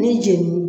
Ni jenini